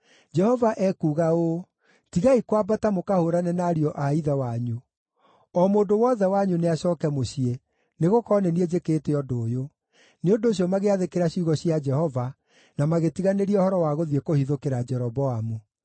‘Jehova ekuuga ũũ: Tigai kwambata mũkahũũrane na ariũ a ithe wanyu. O mũndũ wothe wanyu nĩacooke mũciĩ, nĩgũkorwo nĩ niĩ njĩkĩte ũndũ ũyũ.’ ” Nĩ ũndũ ũcio magĩathĩkĩra ciugo cia Jehova na magĩtiganĩria ũhoro wa gũthiĩ kũhithũkĩra Jeroboamu.